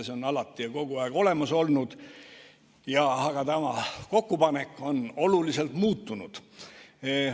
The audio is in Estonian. See on alati ja kogu aeg olemas olnud, aga tema kokkupanek on oluliselt muutunud.